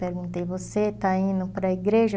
Perguntei, você está indo para a igreja?